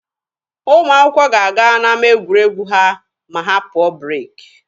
Ụmụ akwụkwọ ga-aga n'ama egwuregwu ha ma ha pụọ breeki.